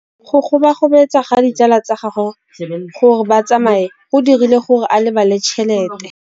Go gobagobetsa ga ditsala tsa gagwe, gore ba tsamaye go dirile gore a lebale tšhelete.